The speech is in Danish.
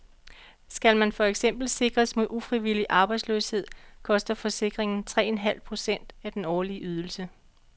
Skal man for eksempel sikres mod ufrivillig arbejdsløshed, koster forsikringen tre en halv procent af den årlige ydelse.